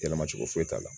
Yɛlɛma cogo foyi t'a la